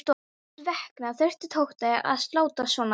Hvers vegna þurfti Tóti að láta svona.